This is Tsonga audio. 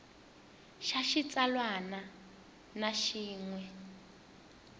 xa xitsalwana na xin we